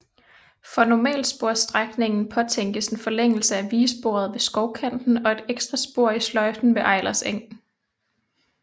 For normalsporsstrækningen påtænkes en forlængelse af vigesporet ved Skovkanten og et ekstra spor i sløjfen ved Eilers Eg